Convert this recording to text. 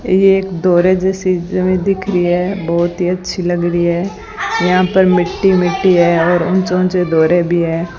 ये एक दोहरे जैसी ज हमे दिख री है बहोत ही अच्छी लग री है यहां पर मिट्टी-मिट्टी है और ऊंचे-ऊंचे दोहरे भी है।